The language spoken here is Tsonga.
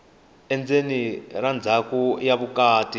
endlelo ra ndzhaka ya vukati